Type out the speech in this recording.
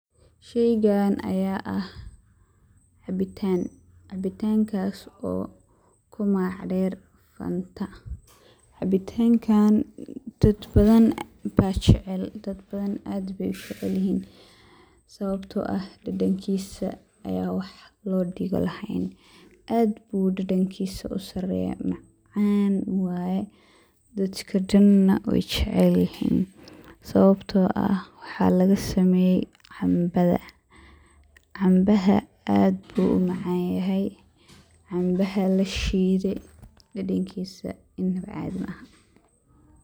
Sheygan aya ah cabiitan, cabiitankaso kumagac der fanta cabiitankan daad bathan baa u jeecel, daad bathan aad bey ujecelyihiin, sawabto ah dadankisaa aya wax lodigo laheyn, aad bu dadankisa u sareyaa, maacan wayee daadka Daana wey jecelyihiin, sawabto ah waxaa laga sameye canbadha, canbaaha aad bu umacanyahay, canbaha lashidee dadankisa cathii maaha.